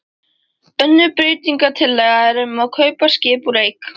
Önnur breytingatillaga er um að kaupa skip úr eik.